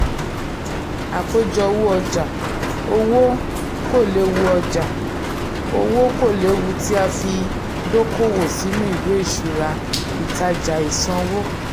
àkójọ owó ọjà: owó kòléwu ọjà: owó kòléwu tí a fi dókòwò sínú ìwé ìṣúra/ìtajà/ìsanwó.